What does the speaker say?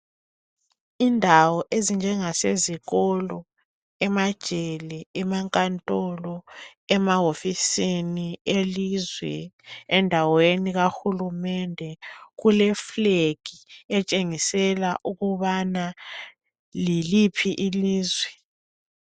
Indawo ezinjenga sezikolo emajele amankantolo emawofisini elizwe endaweni kahulumende kuleflag etshengisela ukubana yiliphi ilizwe